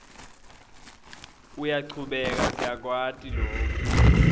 uyachubeka siyakwati loku